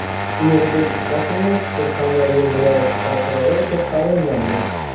Ulug‘bek Qosimov Surxondaryo viloyati prokurori etib tayinlandi.